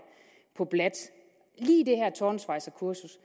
på bladt lige det her tårnsvejserkursus